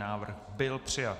Návrh byl přijat.